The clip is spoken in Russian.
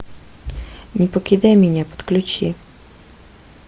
не покидай меня подключи